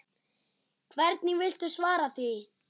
Hvernig viltu svara því?